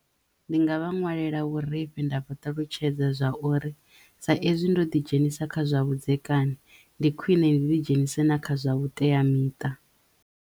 Ndi nga vha ṅwalela vhurifhi nda vhaṱalutshedza zwa uri sa ezwi ndo ḓi dzhenisa kha zwa vhudzekani ndi khwine ndi ḓi dzhenise na kha zwa vhuteamiṱa.